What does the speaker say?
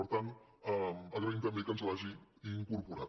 per tant agraïm també que ens l’hagi incorporada